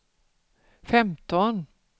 femton